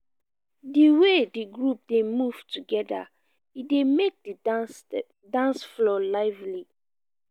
di way di group dey move together e dey make di dance floor lively.